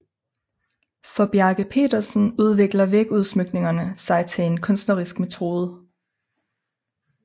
For Bjerke Petersen udvikler vægudsmykningerne sig til en kunstnerisk metode